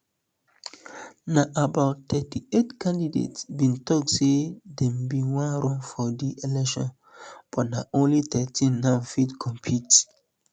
na about thirty-eight candidates bin tok say dem bin wan run for di election but na only thirteen now fit compete